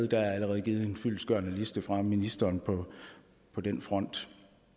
der er allerede givet en fyldestgørende liste fra ministeren på den front